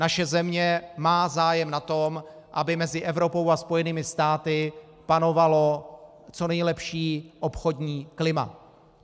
Naše země má zájem na tom, aby mezi Evropou a Spojenými státy panovalo co nejlepší obchodní klima.